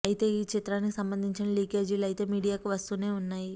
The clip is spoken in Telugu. అయితే ఈ చిత్రానికి సంబంధించిన లీకేజీలు అయితే మీడియాకి వస్తూనే వున్నాయి